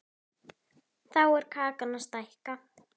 Þá er kakan að stækka.